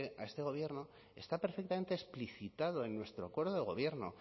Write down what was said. a este gobierno está perfectamente explicitado en nuestro acuerdo de gobierno